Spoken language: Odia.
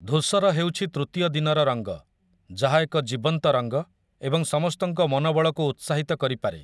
ଧୂସର ହେଉଛି ତୃତୀୟ ଦିନର ରଙ୍ଗ, ଯାହା ଏକ ଜୀବନ୍ତ ରଙ୍ଗ ଏବଂ ସମସ୍ତଙ୍କ ମନୋବଳକୁ ଉତ୍ସାହିତ କରିପାରେ ।